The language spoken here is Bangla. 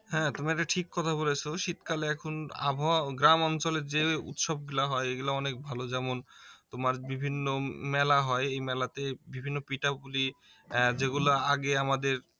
হ্যাঁ তুমি একটা ঠিক কথা বলেছো শীতকালে এখন আবহাওয়া গ্রাম অঞ্চলে যে উৎসবগুলা হয় এগুলা অনেক ভালো যেমন তোমার বিভিন্ন মেলা হয় এই মেলাতে বিভিন্ন পিঠাপুলি এর যেগুলা আগে আমাদের